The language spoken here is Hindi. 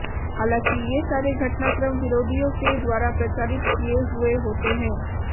हालांकि ये सारे घटनाक्रम विरोधियों के द्वारा प्रचारित किये हुए होते हैं